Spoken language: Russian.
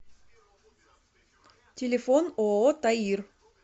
телефон ооо таир